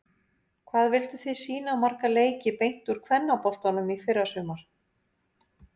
Hvað vilduð þið sýna marga leiki beint úr kvennaboltanum í fyrrasumar?